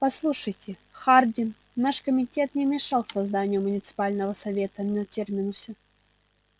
послушайте хардин наш комитет не мешал созданию муниципального совета на терминусе